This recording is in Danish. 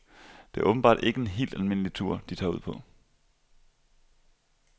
Det er åbenbart ikke en helt almindelig tur, de tager ud på.